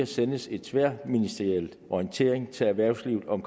sendes en tværministeriel orientering til erhvervslivet om